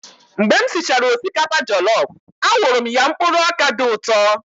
Mgbe m sichara osikapa jọlọf, a wụrụ m ya mkpụrụ ọkà dị ụtọ.